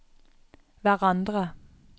hverandre